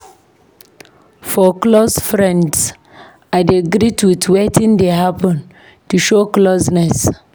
For close friends, I dey greet with "Wetin dey happen?" to show closeness.